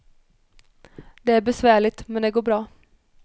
Det är besvärligt, men det går bra.